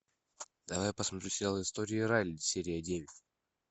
давай посмотрим сериал истории райли серия девять